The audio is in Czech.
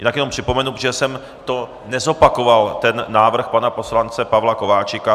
Jinak jenom připomenu, protože jsem to nezopakoval, ten návrh pana poslance Pavla Kováčika.